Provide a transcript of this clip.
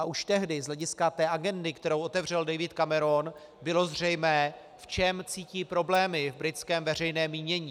A už tehdy z hlediska té agendy, kterou otevřel David Cameron, bylo zřejmé, v čem cítí problémy v britském veřejném mínění.